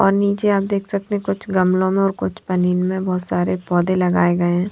और नीचे आप देख सकते हैं कुछ गमलों में और कुछ पनीर में बहुत सारे पौधे लगाए गए हैं।